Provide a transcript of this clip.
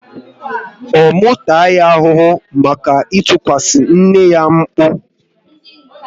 Ọ mụ taa ya ahụhụ maka itikwasi nne ya mkpu?